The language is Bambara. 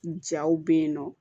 Jaw bɛ yen nɔ